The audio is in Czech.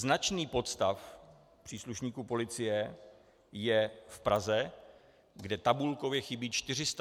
Značný podstav příslušníků policie je v Praze, kde tabulkově chybí 431 policistů.